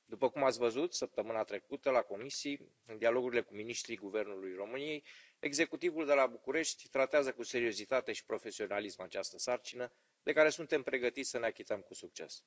După cum ați văzut, săptămâna trecută la comisii, în dialogurile cu miniștrii Guvernului României, executivul de la București tratează cu seriozitate și profesionalism această sarcină, de care suntem pregătiți să ne achităm cu succes.